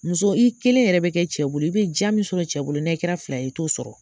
Muso i kelen yɛrɛ bi kɛ cɛ bolo i be ja min sɔrɔ cɛ bolo ni ayi kɛra fila i to sɔrɔ